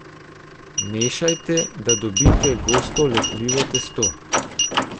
Mešajte, da dobite gosto lepljivo testo.